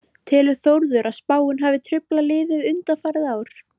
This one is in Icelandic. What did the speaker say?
Telur Þórður að spáin hafi truflað liðið undanfarin ár?